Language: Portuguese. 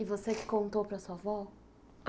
E você que contou para sua avó?